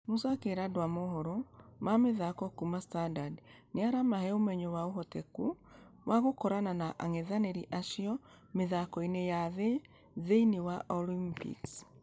Musa akĩera andũ a mohoro ma mĩthako kuuma standard nĩ ĩramahe ũmenyo wa ũhotekano wa gũkorana na angethanĩri acio mĩthako-inĩ ya .....thĩinĩ wa olympics.